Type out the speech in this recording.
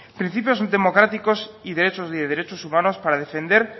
principios democráticos y derechos humanos para defender